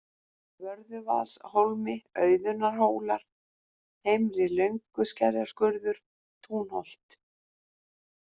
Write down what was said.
Vörðuvaðshólmi, Auðunnarhólar, Heimri-Lönguskerjaskurður, Túnholt